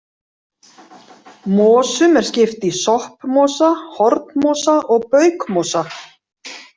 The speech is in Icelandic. Mosum er skipt í soppmosa, hornmosa og baukmosa.